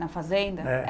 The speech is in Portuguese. Na fazenda? É